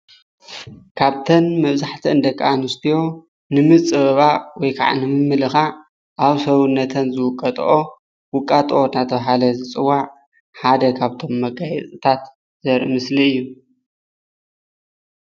ካብተን መብዛሕትአን ደቂ ኣነስትዮ ንምፅብባቅ ወይ ከዓ ንምምልካዕ ኣብ ሰውነተን ዝውቀጠኦ ውቃጡ እንዳተባሃለ ዝፅዋዕ ሓደ ካብቶም መጋየፅታት ዘርኢ ምስሊ እዩ፡፡